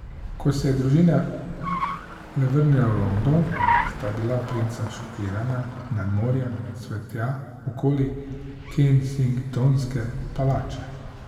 Ko se je družina le vrnila v London, sta bila princa šokirana nad morjem cvetja okoli Kensingtonske palače.